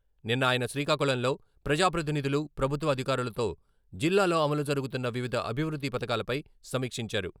నిన్న ఆయన శ్రీకాకుళంలో ప్రజా ప్రతినిధులు, ప్రభుత్వ అధికారులతో జిల్లాలో అమలు జరుగుతున్న వివిధ అభివృద్ధి పథకాలపై సమీక్షించారు.